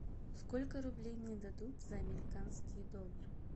сколько рублей мне дадут за американские доллары